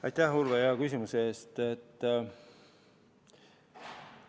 Aitäh, Urve, hea küsimuse eest!